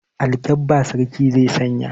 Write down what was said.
Alkabba sarki zai sanya.